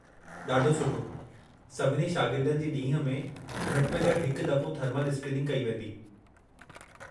ॾाढो सुठो! सभिनी शागिर्दनि जी ॾींह में घटि में घटि हिकु दफ़ो थर्मल स्क्रीनिंग कई वेंदी।